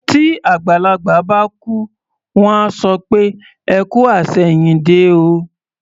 Tí àgbàlagbà bá kú, wọ́n á sọ pé "ẹ kú àṣẹ̀yìndé o".